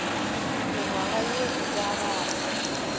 mengwaga ye e ka bago